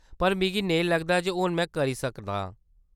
पर मिगी नेईं लगदा जे हून में करी सकदा आं।